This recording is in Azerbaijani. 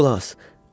Qulaq as.